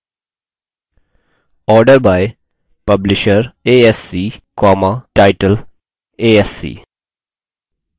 order by publisher asc title asc